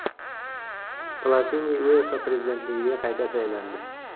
Platini UEFA prezidentligiga qayta saylandi.